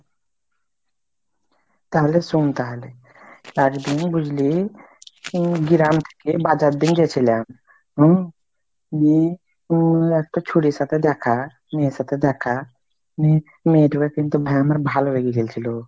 তাহলে শোন তাহলে, একদিনে বুঝলি গ্রাম থেকে বাজার দিং যেছিলাম উম দিয়ে উম একটা ছুঁড়ির সাথে দেখা মেয়ের সাথে দেখা উম মেয়েগুলা কিন্তু আমার ভালো লেগে গেলছিলো।